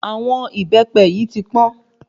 Àwọn ìbẹ́pẹ yìí tí pọ́n